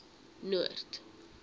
noord